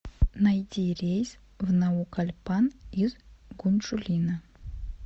найди рейс в наукальпан из гунчжулина